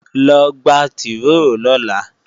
Lọ gba tìróò lọ́la!